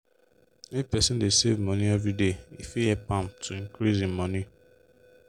if person dey save money everyday e fit help am to increase hin money.